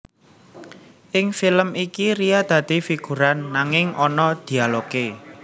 Ing film iki Ria dadi figuran nanging ana dialogé